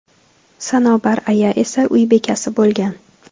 Sanobar aya esa uy bekasi bo‘lgan.